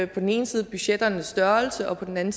på den ene side budgetternes størrelse og på den anden